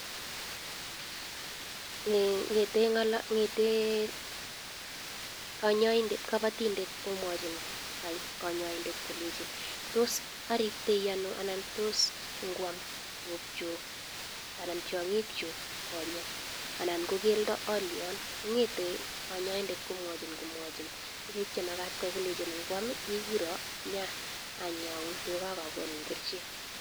Ngetee kapatinndet komwachii kanyaindet kolechin tos aribtaii anoo anan tos kwam tunguchuk anan tiangik chuk konyek anan kokeldo alian kongete kanyaindet kwomwachin tukuk chee makatin kwaii kolenchin ikura nyaanyaun tuga akakonin kerchek